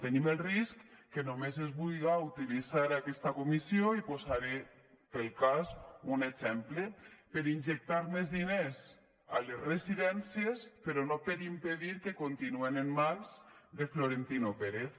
tenim el risc que només es vulga utilitzar aquesta comissió i posaré per al cas un exemple per injectar més diners a les residències però no per impedir que continuïn en mans de florentino pérez